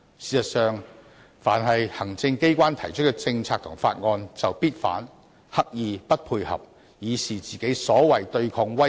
事實上，凡是行政機關提出的政策和法案，非建制派議員必定反對，刻意"不配合"，以示他們"對抗威權"。